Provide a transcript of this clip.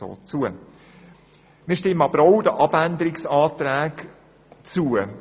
Wir stimmen aber auch den Abänderungsanträgen zu.